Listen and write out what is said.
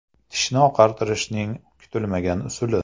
Tishni oqartirishning kutilmagan usuli .